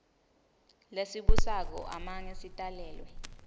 lesibusako amange sitalelwe